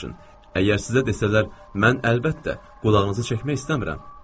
Əgər sizə desələr, mən əlbəttə, qulağınızı çəkmək istəmirəm.